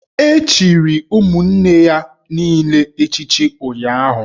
E chichiri ụmụnne ya niile echichi ụnyụahụ